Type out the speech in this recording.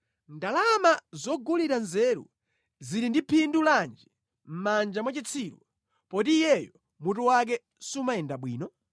Ndalama zogulira nzeru zili ndi phindu lanji mʼmanja mwa chitsiru poti iyeyo mutu wake sumayenda bwino?